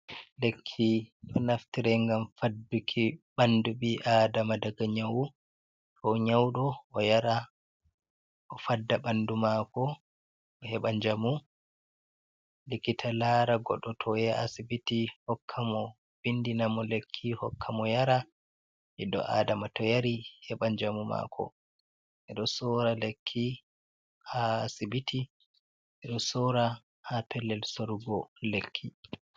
Lekki ɗo naftire gam fadduki ɓandu ɓi adama daga nyawu, to nyauɗo yari fadda ɓandu mako, heɓa njamu. lekkita lara goɗo toyahi asibiti hokka mo vindi namo lekki hokka mo yara, ɓiɗo adama to yari heɓa njamu mako ɓeɗo sora lekki ha asibiti, ɓeɗo sora ha pellel sorugo lekki.